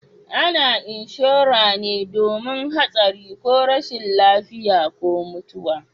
A na inshora me domin hatsari ko rashin lafiya ko mutuwa